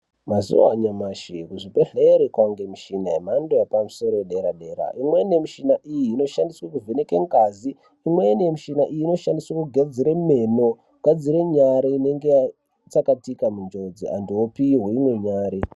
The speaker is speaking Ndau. Mazuva anyamashi kuzvibhedhlera kwane mishini yemhando yepamusoro yedera dera imweni yemushina iyi inoshandiswa kuvheneka ngazi imweni yemushina iyi inoshandiswa kugadzira meno kugadzira nyara inenge yatsakatika m unjodzi vantu vopuwa umwe nyara.